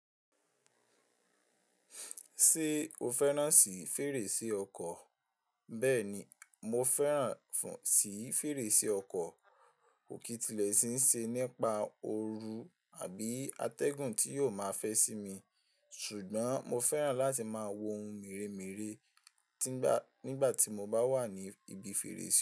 Ṣé o fẹ́ràn sí fèrèsé ọkọ̀? Bẹ́ẹ̀ni, mo fẹ́ràn sì fèrèsé ọkọ̀. Kò kí n tilẹ̀ sì n ṣe nípa òru àbí atẹ́gùn tí yóò máa fẹ́ sí mi, ṣùgbọ́n mo fẹ́ràn láti máa wo ohun mèremère nígbà tí mo bá wà ní ibi fèrèsé.